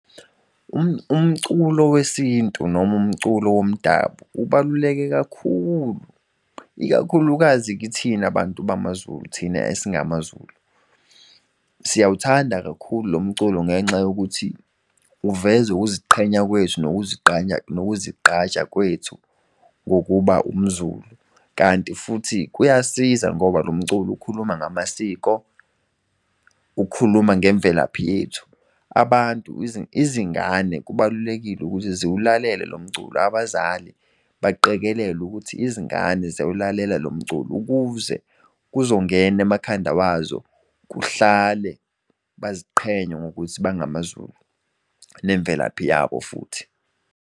Umculo wesintu noma umculo womdabu ubaluleke kakhulu, ikakhulukazi kithina bantu bamaZulu thina esingamaZulu. Siyawuthanda kakhulu lo mculo ngenxa yokuthi uveza ukuziqhenya kwethu nokuzigqaja kwethu ngokuba umZulu. Kanti futhi kuyasiza ngoba lo mculo ukhuluma ngamasiko, ukhuluma ngemvelaphi yethu. Abantu izingane kubalulekile ukuthi ziwulalele lo mculo abazali baqikelele ukuthi izingane ziyaw'lalela lo mculo ukuze kuzongena emakhanda wazo. Kuhlale baziqhenye ngokuthi bangamaZulu nemvelaphi yabo futhi.